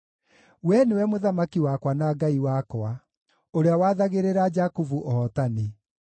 Wee nĩwe Mũthamaki wakwa na Ngai wakwa, ũrĩa wathagĩrĩra Jakubu ũhootani.